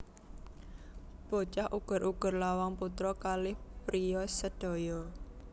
Bocah Uger uger lawang putra kalih ppriya sedaya